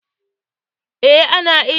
Ana iya ƙara ilimi ta yanar gizo.